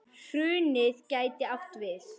Hrunið gæti átt við